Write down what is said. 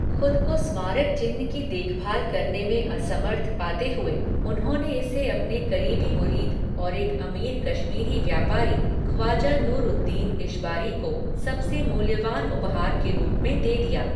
खुद को स्मारक चिह्न की देखभाल करने में असमर्थ पाते हुए, उन्होंने इसे अपने करीबी मुरीद और एक अमीर कश्मीरी व्यापारी ख्वाजा नूर उद दीन इशबारी को सबसे मूल्यवान उपहार के रूप में दे दिया।